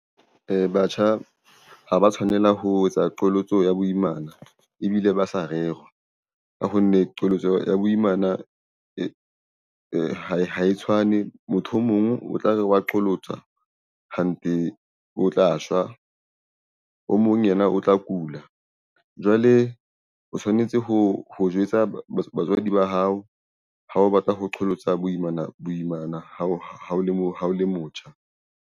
Batjha ha ba tshwanela ho etsa qholotso ya boimana ebile ba sa rera ka ho nne qholotso ya boimana ha e tshwane. Motho o mong o tla re wa qholotsa hanthe, o tla shwa. O mong yena o tla kula. Jwale o tshwanetse ho jwetsa batswadi ba hao. Ha o batla ho qholotsa boimana ha o le motjha.